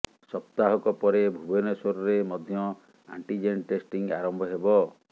ସପ୍ତାହକ ପରେ ଭୁବନେଶ୍ୱରରେ ମଧ୍ୟ ଆଣ୍ଟିଜେନ୍ ଟେଷ୍ଟିଂ ଆରମ୍ଭ ହେବ